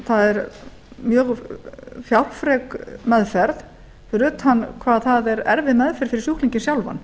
það er mjög fjárfrek meðferð fyrir utan hvað það er erfið meðferð fyrir sjúklinginn sjálfan